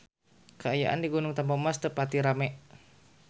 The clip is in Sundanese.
Kaayaan di Gunung Tampomas teu pati rame